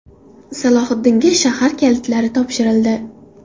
Salohiddinga shahar kalitlari topshirildi .